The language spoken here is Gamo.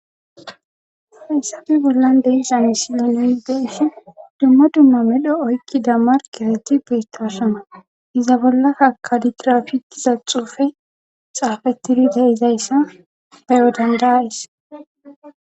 hassafi bollan deessa misilenoy deissi dumma dumma medho oykki dam markereti biitaashama iza bolla kakadi dirafigiza xuufe xaafetidide izayssa beyo dandaais